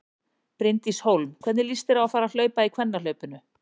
Bryndís Hólm: Hvernig líst þér á að fara að hlaupa í kvennahlaupinu?